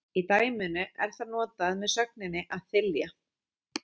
Í dæminu er það notað með sögninni að þylja.